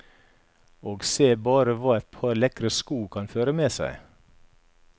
Og se bare hva et par lekre sko kan føre med seg.